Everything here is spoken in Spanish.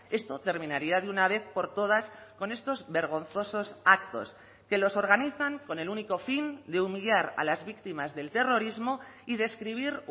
esto terminaría de una vez por todas con estos vergonzosos actos que los organizan con el único fin de humillar a las víctimas del terrorismo y describir